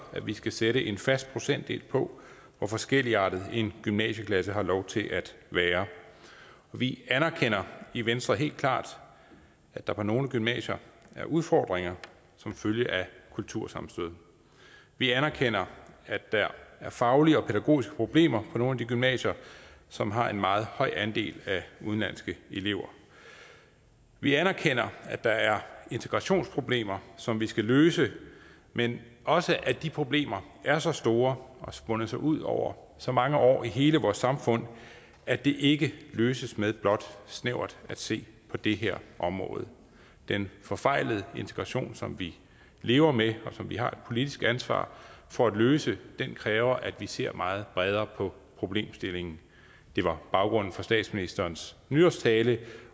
at vi skal sætte en fast procentdel på hvor forskelligartet en gymnasieklasse har lov til at være vi anerkender i venstre helt klart at der på nogle gymnasier er udfordringer som følge af kultursammenstød vi anerkender at der er faglige og pædagogiske problemer på nogle af de gymnasier som har en meget høj andel af udenlandske elever vi anerkender at der er integrationsproblemer som vi skal løse men også at de problemer er så store og har spundet sig ud over så mange år i hele vores samfund at de ikke løses ved blot snævert at se på det her område den forfejlede integration som vi lever med og som vi har et politisk ansvar for at løse kræver at vi ser meget bredere på problemstillingen det var baggrunden for statsministerens nytårstale